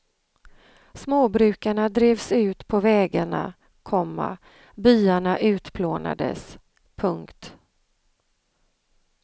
Småbrukarna drevs ut på vägarna, komma byarna utplånades. punkt